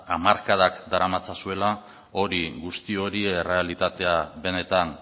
hamarkadak daramatzazuela guzti hori errealitatea benetan